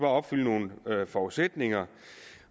opfylde nogle forudsætninger